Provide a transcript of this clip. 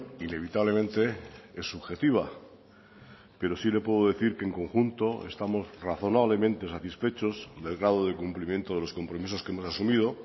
inevitablemente es subjetiva pero sí le puedo decir que en conjunto estamos razonablemente satisfechos del grado de cumplimiento de los compromisos que hemos asumido